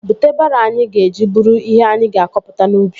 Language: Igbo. Bute baroo anyị ga-eji buru ihe anyị ga-akọpụta n'ubi